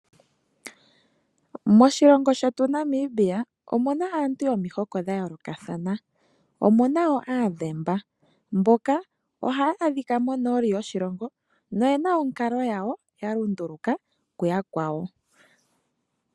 Moshilongo shetu Namibia omu na aantu yomihoko dha yoolokathana omu na wo Aadhemba ohaya adhika monooli yoshilongo noye na onkalo yawo ya lunduluka ku yakwawo.